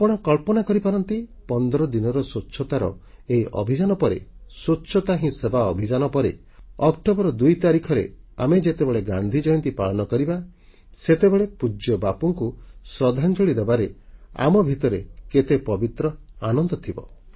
ଆପଣ କଳ୍ପନା କରିପାରନ୍ତି 15 ଦିନର ସ୍ୱଚ୍ଛତାର ଏହି ଅଭିଯାନ ପରେ ସ୍ୱଚ୍ଛତା ହିଁ ସେବା ଅଭିଯାନ ପରେ ଅକ୍ଟୋବର 2 ତାରିଖରେ ଆମେ ଯେତେବେଳେ ଗାନ୍ଧି ଜୟନ୍ତୀ ପାଳନ କରିବା ସେତେବେଳେ ପୂଜ୍ୟ ବାପୁଙ୍କୁ ଶ୍ରଦ୍ଧାଞ୍ଜଳି ଦେବାରେ ଆମ ଭିତରେ କେତେ ପବିତ୍ର ଆନନ୍ଦ ଥିବ